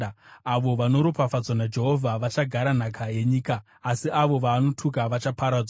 avo vanoropafadzwa naJehovha vachagara nhaka yenyika, asi avo vaanotuka vachaparadzwa.